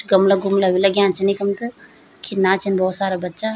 गमला गुमला भी लग्यां छिन इखम त खिना छिन भौत सारा बच्चा।